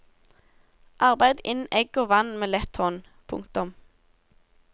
Arbeid inn egg og vann med lett hånd. punktum